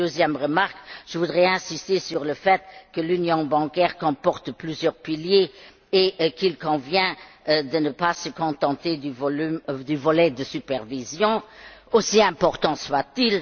Une deuxième remarque je voudrais insister sur le fait que l'union bancaire comporte plusieurs piliers et qu'il convient de ne pas se contenter du volet supervision, aussi important soit il.